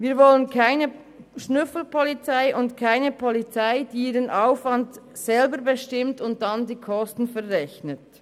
Wir wollen keine Schnüffelpolizei und keine Polizei, die ihren Aufwand selber bestimmt und dann die Kosten verrechnet.